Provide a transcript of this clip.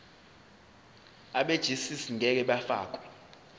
abegcis ngeke bafakwa